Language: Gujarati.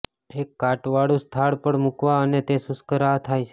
એક કાટવાળું સ્થળ પર મૂકવા અને તે શુષ્ક રાહ થાય છે